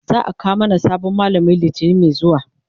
za'a kawo mana sabon mallami litani Mai zuwa